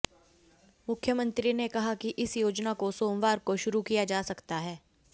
मुख्यमंत्री ने कहा कि इस योजना को सोमवार को शुरू किया जा सकता है